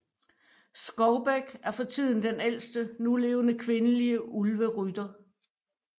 Skovbæk er for tiden den ældste nulevende kvindelige Ulverytter